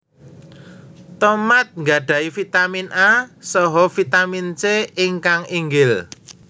Tomat nggadhahi Vitamin A saha Vitamin C ingkang inggil